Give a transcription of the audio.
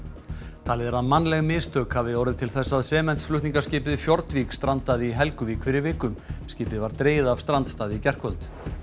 talið er að mannleg mistök hafi orðið til þess að sementsflutningaskipið Fjordvik strandaði í Helguvík fyrir viku skipið var dregið af strandstað í gærkvöldi